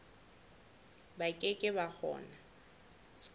ba ke ke ba kgona